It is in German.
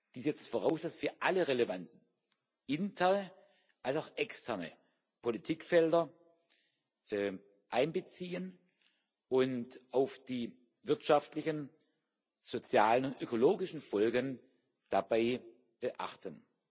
Dies setzt voraus, dass wir alle relevanten internen als auch externen Politikfelder einbeziehen und auf die wirtschaftlichen, sozialen und ökologischen Folgen dabei achten.